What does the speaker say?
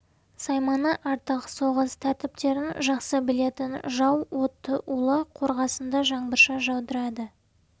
сайманы артық соғыс тәртіптерін жақсы білетін жау отты улы қорғасынды жаңбырша жаудырады